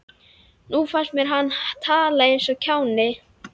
Nú fannst mér að hann talaði eins og kjáni.